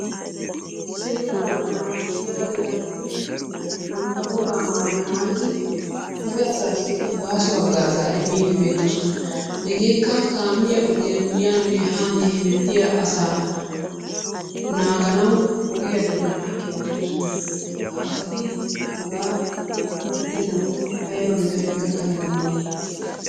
Seera naagissiya doonanoti bantta woga maayuwaa maayyidi dere asassi baaso hagaaza immide beettoosona. Hegekka kaamiya ogiyaa yanne hanne hemettiya asaa naaganawu ogiya doonan eqqi uttidoosona. Ha asati hagaa oottenakko aybba metoy gakana dandday?